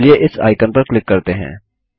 चलिए इस आइकन पर क्लिक करते हैं